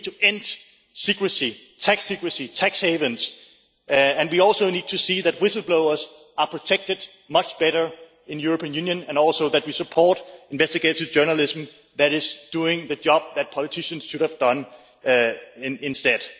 We need to end secrecy, tax secrecy and tax havens, and we also need to see that whistle blowers are protected much better in European Union and also that we support investigative journalism that is doing the job that politicians should have done instead.